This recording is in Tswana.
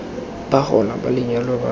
ba gona ba lenyalo ba